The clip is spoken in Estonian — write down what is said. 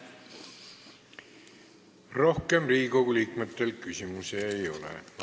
Rohkem Riigikogu liikmetel küsimusi ei ole.